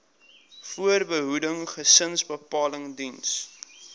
voorbehoeding gesinsbeplanning diens